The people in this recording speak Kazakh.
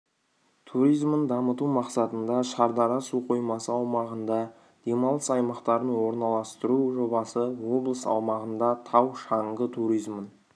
туризмін дамыту мақсатында шардара су қоймасы аумағында демалыс аймақтарын орналастыру жобасы облыс аумағында тау-шаңғы туризмін